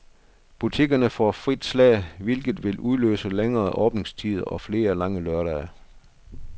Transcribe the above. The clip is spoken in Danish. Butikkerne får frit slag, hvilket vil udløse længere åbningstider og flere lange lørdage.